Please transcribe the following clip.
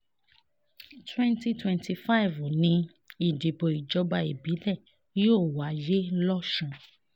twenty twenty five ni ìdìbò ìjọba ìbílẹ̀ yóò wáyé lọ́sùn